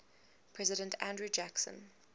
president andrew jackson